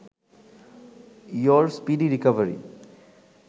your speedy recovery